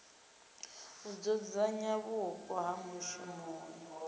u dzudzanya vhupo ha mushumoni